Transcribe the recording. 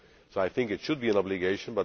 I think it should be an obligation.